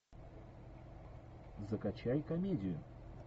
закачай комедию